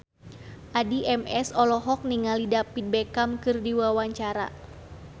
Addie MS olohok ningali David Beckham keur diwawancara